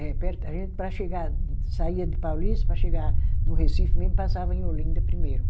É perto, a gente, para chegar, saía de Paulista, para chegar no Recife mesmo, passava em Olinda primeiro.